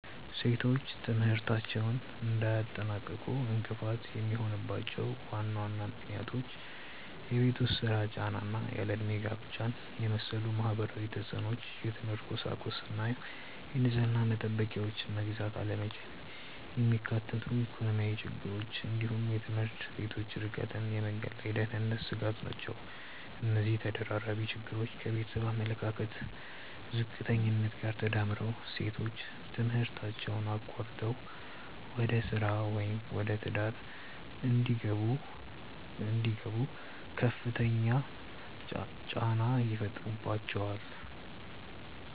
ሴቶች ትምህርታቸውን እንዳያጠናቅቁ እንቅፋት የሚሆኑባቸው ዋና ዋና ምክንያቶች የቤት ውስጥ ሥራ ጫና እና ያለ ዕድሜ ጋብቻን የመሰሉ ማህበራዊ ተፅዕኖዎች፣ የትምህርት ቁሳቁስና የንጽህና መጠበቂያዎችን መግዛት አለመቻልን የሚያካትቱ ኢኮኖሚያዊ ችግሮች፣ እንዲሁም የትምህርት ቤቶች ርቀትና የመንገድ ላይ የደህንነት ስጋት ናቸው። እነዚህ ተደራራቢ ችግሮች ከቤተሰብ አመለካከት ዝቅተኛነት ጋር ተዳምረው ሴቶች ትምህርታቸውን አቋርጠው ወደ ሥራ ወይም ወደ ትዳር እንዲገቡ ከፍተኛ ጫና ይፈጥሩባቸዋል።